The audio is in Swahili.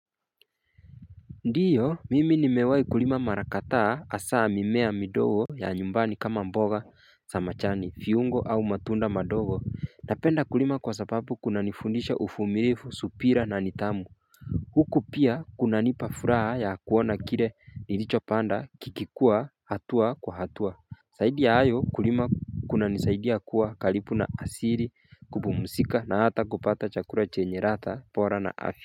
Ndiyo mimi nimewei kulima marakadha hasaa mimea midogo ya nyumbani kama mboga za majani viungo au matunda madogo napenda kulima kwa sababu kuna nifundisha uvumirivu subira na nidhamu Huku pia kuna nipa furaha ya kuona kire nilicho panda kikikua hatua kwa hatua zaidia ya hayo kulima kuna nisaidia kuwa karibu na asiri kupumusika na hata kupata chakula chenye rata bora na afi.